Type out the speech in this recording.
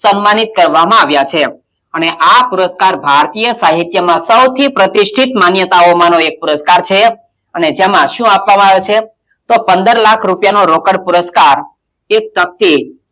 સમ્માનિત કરવામાં આવ્યાં છે અને આ પુરસ્કાર ભારતીય સાહિત્યમાં સૌથી પ્રતિષ્ઠિત માન્યતામાંઓનો એક પુરસ્કાર છે અને તેમાં શું આપવામાં આવે છે તો પંદર લાખ રૂપિયાનો રોકડ પુરસ્કાર